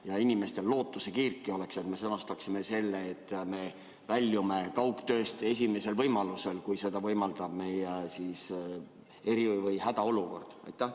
Et inimestel lootusekiirtki oleks, siis ehk me sõnastaksime selle nii, et me väljume kaugtööst esimesel võimalusel, kui seda võimaldab meie eri- või hädaolukord?